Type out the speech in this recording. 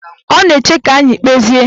Ọ na-eche ka anyị kpezie